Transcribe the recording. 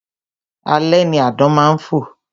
Alẹ́ ni àdán má ń fò